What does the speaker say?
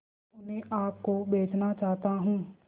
मैं उन्हें आप को बेचना चाहता हूं